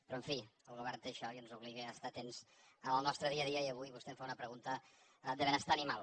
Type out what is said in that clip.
però en fi el govern té això i ens obliga a estar atents en el nostre dia a dia i avui vostè em fa una pregunta de benestar animal